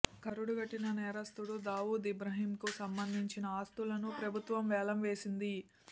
కరుడుగట్టిన నేరస్తుడు దావూద్ ఇబ్రహింకు సంబంధించిన ఆస్తులను ప్రభుత్వం వేలం వేసింది